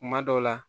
Kuma dɔw la